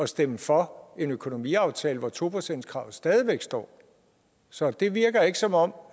stemme for en økonomiaftale hvor to procentskravet stadig væk står så det virker ikke som om